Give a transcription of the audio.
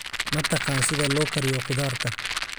Ma taqaan sida loo kariyo khudaarta?